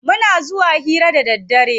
Muna zuwa hira da daddare.